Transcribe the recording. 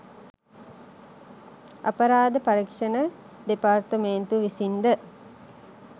අපරාධ පරීක්ෂණ දෙපාර්තුමේන්තුව විසින්ද